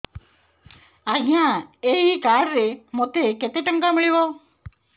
ଆଜ୍ଞା ଏଇ କାର୍ଡ ରେ ମୋତେ କେତେ ଟଙ୍କା ମିଳିବ